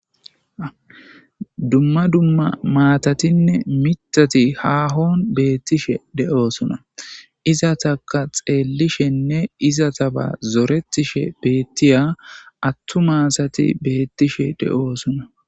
Dumma dumma maatatinne mitati haahon beettishe de'oosuna iza taka xeellishenne iza taba zoretishe beettiya attu maasati beettishe de'oosuna.